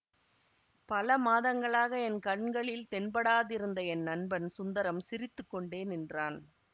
பல மாதங்களாக என் கண்களில் தென்படாதிருந்த என் நண்பன் சுந்தரம் சிரித்து கொண்டே நின்றான்